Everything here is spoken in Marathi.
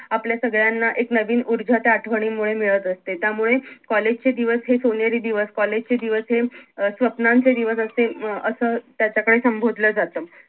आपल्या सगळ्यांना एक नवीन ऊर्जा त्या आठवणींमुळे मिळत असते त्यामुळे कॉलेज चे दिवस हे सोनेरी दिवस कॉलेज चे दिवस हे अं स्वप्नांचे दिवस असे अं असं त्याच्याकडे संबोधलं जात